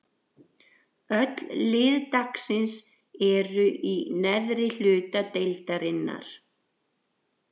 Öll lið dagsins eru í neðri hluta deildarinnar.